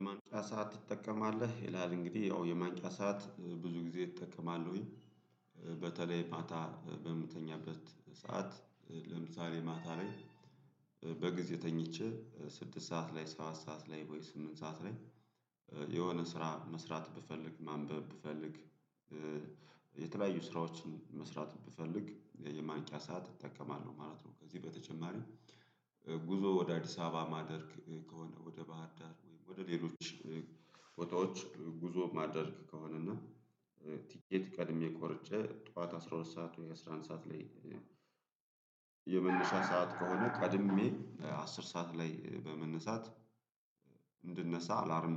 የማንቂያ ሰዓት ትጠቀማለህ ይላል እንግዲህ ያው የማንቂያ ሰዓት ብዙ ጊዜ እጠቀማለሁኝ። በተለይ ማታ በምተኛበት ሰዓት ለምሳሌ ማታ ላይ። በጊዜ ተኝቼ ስድስት ሰዓት ላይ ሰባት ሰዓት ላይ ወይ ስምንት ሰዓት ላይ የሆነ ስራ መስራት ብፈልግ ማንበብ ብፈልግ። የተለያዩ ስራዎችን መስራት ብፈልግ የማንቂያ ሰዓት እጠቀማለሁ ማለት ነው። ከዚህ በተጨማሪ ጉዞ ወደ አዲስ አበባ ማደርግ ከሆነ ወደ ባህር ዳር ወደ ሌሎች ቦታዎች ጉዞ ማድረግ ከሆነና ቲኬት ቀድሜ ቆርጨ ጠዋት አስራ ሁለት ሰዓት ወይ አስራ አንድ ሰዓት ላይ። የመነሻ ሰዓት ከሆነ ቀድሜ አስር ሰዓት ላይ በመነሳት እንድነሳ አላርም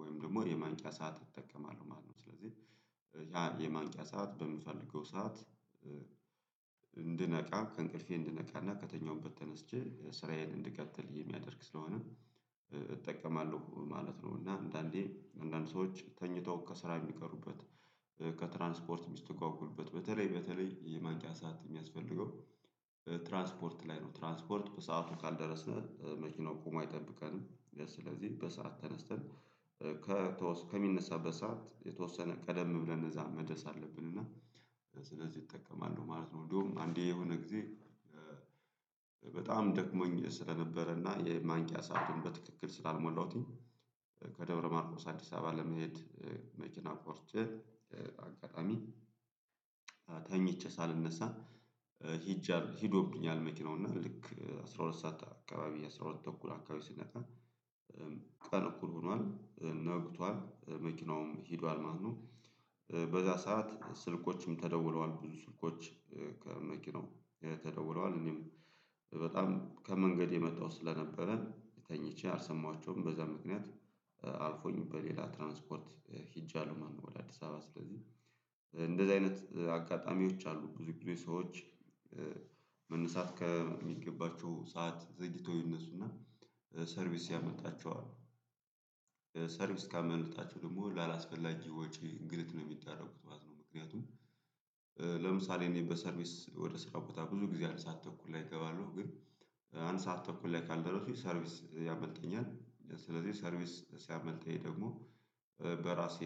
ወይም ደግሞ የማንቂያ ሰዓት እጠቀማለሁ ማለት ነው። ስለዚህ ያ የማንቂያ ሰዓት በምፈልገው ሰዓት። እንድነቃ ከእንቅልፌ እንድነቃና ከተኛሁበት ተነስቼ ስራዬን እንድቀጥል የሚያደርግ ስለሆነ እጠቀማለሁ ማለት ነው። እና አንዳንዴ አንዳንድ ሰዎች ተኝተው ከስራ የሚቀሩበት ከትራንስፖርት የሚስተጓጎሉበት በተለይ በተለይ የማንቂያ ሰዓት የሚያስፈልገው ትራንስፖርት ላይ ነው። ትራንስፖርት በሰአቱ ካልደረስነ መኪናው ቆሞ አይጠብቀንም ስለዚህ በሰአት ተነስተን ከሚነሳበት ሰዓት የተወሰነ ቀደም ብለን እዛ መደስ አለብን። እና ስለዚህ እጠቀማለው ማለት ነው። እንደውም አንዴ የሆነ ጊዜ በጣም ደክሞኝ ስለነበረና የማንቂያ ሰአቱን በትክክል ስላልሞላሁትኝ። ከደብረ ማርቆስ አዲስ አበባ ለመሄድ። መኪና ቆርጬ አጋጣሚ ተኝቼ ሳልነሳ ሂጄ ሂዶብኛል። መኪናውና ልክ አስራ ሁለት ሰዓት አካባቢ አስራ ሁለት ተኩል አካባቢ ስነቃ። ቀን እኩል ሆኗል ነግቷል መኪናውም ሄዷል ማለት ነው። በዛ ሰዓት ስልኮችም ተደውለዋል ብዙ ስልኮች ከመኪናው ተደውለዋል እኔም በጣም ከመንገድ የመጣሁት ስለነበረ ተኝቼ አልሰማኋቸውም። በዛ ምክንያት አልፎኝ በሌላ ትራንስፖርት ሄጃለሁ ማለት ነው። ወደ አዲስ አበባ ስለዚህ እንደዚህ አይነት አጋጣሚዎች አሉ። ብዙ ጊዜ ሰዎች መነሳት ከሚገባቸው ሰዓት ዘግይተው ይነሱና ሰርቪስ ያመልጣቸዋል። ሰርቪስ ካመለጣቸው ደግሞ ላላስፈላጊ ወጪ እንግልት ነው የሚዳረጉት ማለት ነው። ምክንያቱም ለምሳሌ እኔ በሰርቪስ ወደ ስራ ቦታ ብዙ ጊዜ አንድ ሰዓት ተኩል ላይ እገባለሁ። ግን አንድ ሰዓት ተኩል ላይ ካልደረሱኝ ሰርቪስ ያመልጠኛል ስለዚህ ሰርቪስ ሲያመልጠኝ ደግሞ በራሴ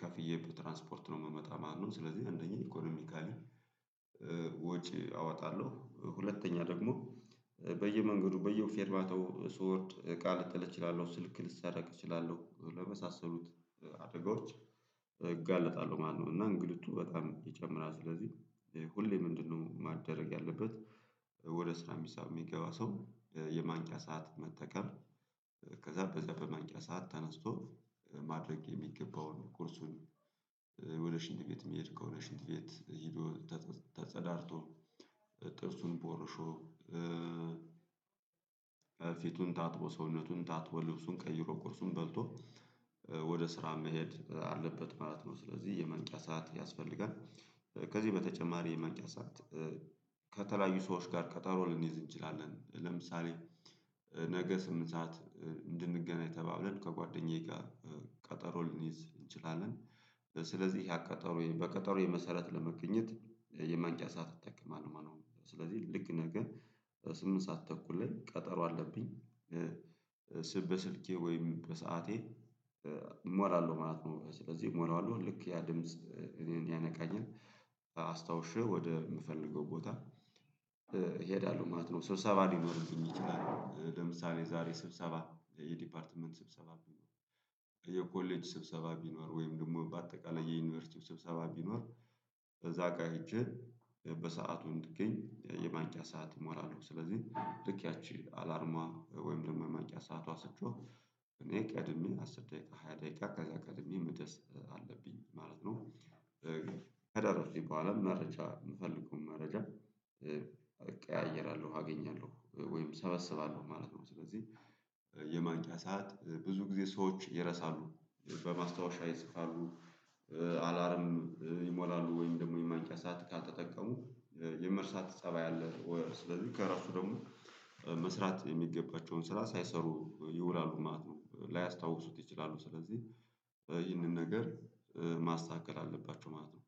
ከፍዬ በትራንስፖርት ነው የምመጣ ማለት ነው። ስለዚህ አንደኛ ኢኮኖሚካሊ ወጪ አወጣለሁ። ሁለተኛ ደግሞ በየመንገዱ በየፌርባታው ስወርድ እቃ ልጥል እችላለሁ። ስልክ ልሰረቅ እችላለሁ። ለመሳሰሉት አደጋዎች እጋለጣለሁ ማለት ነው። እና እንግልቱ በጣም ይጨምራል ስለዚህ ሁሌ ምንድነው ማደረግ ያለበት? ስራ ሚሳብ የሚገባ ሰው የማንቂያ ሰዓት መጠቀም። ከዛ በዛ በማንቂያ ሰዓት ተነስቶ ማድረግ የሚገባውን ቁርሱን። ወደ ሽንት ቤት የሚሄድ ከሆነ ሽንድ ቤት ሄዶ ተጸዳድቶ ጥርሱን ቦርሾ። ፊቱን ታጥቦ ሰውነቱን ታጥቦ ልብሱን ቀይሮ ቁርሱን በልቶ ወደ ስራ መሄድ አለበት ማለት ነው። ስለዚህ የማንቂያ ሰዓት ያስፈልጋል። ከዚህ በተጨማሪ የማንቂያ ሰዓት ከተለያዩ ሰዎች ጋር ቀጠሮ ልንይዝ እንችላለን። ለምሳሌ ነገ ስምንት ሰዓት እንድንገናኝ ተባብለን ከጓደኛዬ ጋር ቀጠሮ ሊንይዝ እንችላለን። ስለዚህ ያ ቀጠሮዬ በቀጠሮዬ መሰረት ለመገኘት የማንቂያ ሰዓት እጠቀማለሁ ማለት ነው። ስለዚህ ልክ ነገ ስምንት ሰዓት ተኩል ላይ ቀጠሮ አለብኝ። በስልኬ ወይም በሰአቴ እሞላለሁ ማለት ነው። ስለዚህ እሞላለሁ ልክ ያ ድምጽ እኔን ያነቃኝን። አስታውሼ ወደምፈልገው ቦታ እሄዳለሁ ማለት ነው። ስብሰባ ሊኖርብኝ ይችላል ለምሳሌ ዛሬ ስብሰባ የዲፓርትመንት ስብሰባ ቢኖር። የኮሌጅ ስብሰባ ቢኖር ወይም ደግሞ በአጠቃላይ የዩኒቨርሲቲ ስብሰባ ቢኖር። በዛ ካሄጄ በሰአቱ እንድገኝ የማንቂያ ሰዓት እሞላለሁ። ስለዚህ ልክ ያቺ አላርሟ ወይም ደግሞ የማንቂያ ሰአቷ ስትጮህ እኔ ቀድሜ አስር ደቂቃ ሃያ ደቂቃ ከዛ ቀድሜ መድረስ አለብኝ ማለት ነው። ከደረስኩኝ በኋላ መረጃ የምፈልገውን መረጃ ቀያየራለሁ አገኛለሁ ወይም ሰበስባለሁ ማለት ነው። ስለዚህ የማንቂያ ሰዓት ብዙ ጊዜ ሰዎች ይረሳሉ በማስታወሻ ይጽፋሉ። አላርም ይሞላሉ ወይም ደግሞ የማንቂያ ሰዓት ካልተጠቀሙ። የመርሳት ፀባይ አለ ወይ? ስለዚህ ከረሱ ደግሞ መስራት የሚገባቸውን ስራ ሳይሰሩ ይውላሉ ማት ነው። ላያስታውሱት ይችላሉ ስለዚህ ይህንን ነገር ማስተካከል አለባችሁ ማለት ነው።